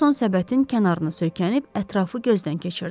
Ferquson səbətin kənarına söykənib ətrafı gözdən keçirdi.